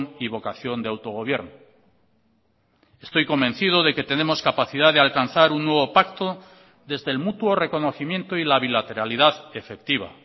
y vocación de autogobierno estoy convencido de que tenemos capacidad de alcanzar un nuevo pacto desde el mutuo reconocimiento y la bilateralidad efectiva